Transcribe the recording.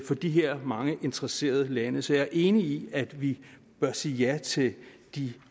for de her mange interesserede lande så jeg er enig i at vi bør sige ja til de